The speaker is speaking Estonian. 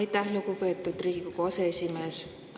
Aitäh, lugupeetud Riigikogu aseesimees!